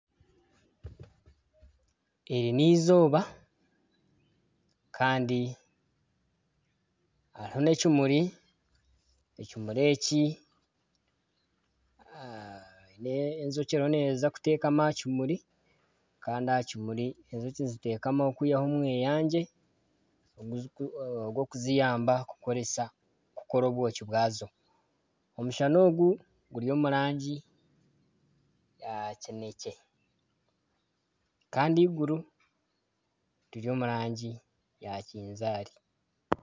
Eri n'eizooba Kandi hariho n'ekimuri , n'enjoki eriho neza kutekama aha kimuri Kandi aha kimuri enjoki nizitekamaho kwihaho omweyangye ogwokuziyamba kukora obwoki bwazo , omushana Ogu guri omu rangi ya kinekye Kandi eiguru riri omu rangi ya kinzaari.